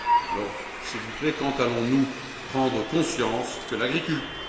Alors, s'il vous plaît, quand allons nous prendre conscience de ce que l'agriculture